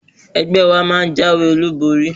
Ẹgbẹ́ wa máa jáwé olúborí.